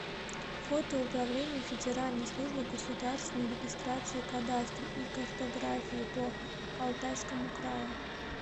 фото управление федеральной службы государственной регистрации кадастра и картографии по алтайскому краю